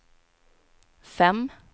fem